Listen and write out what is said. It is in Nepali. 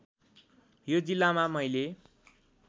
यो जिल्लामा मैले